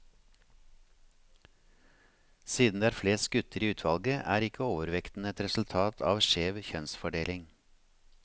Siden det er flest gutter i utvalget, er ikke overvekten et resultat av skjev kjønnsfordeling.